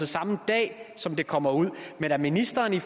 samme dag som det kommer ud men at ministeren i